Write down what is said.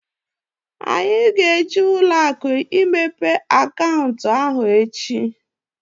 Anyị ga-eje ụlọakụ imepe akaụntụ ahụ echi